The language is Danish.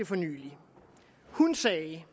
for nylig hun sagde